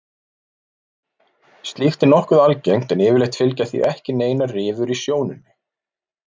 Slíkt er nokkuð algengt en yfirleitt fylgja því ekki neinar rifur í sjónunni.